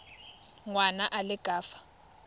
ngwana a le ka fa